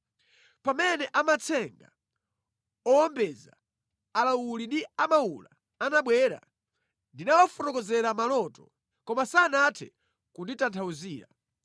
Pamene amatsenga, owombeza, alawuli ndi amawula anabwera, ndinawafotokozera maloto, koma sanathe kunditanthauzira.